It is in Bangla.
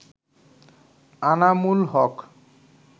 আনামুল হক